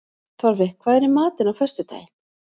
Torfi, hvað er í matinn á föstudaginn?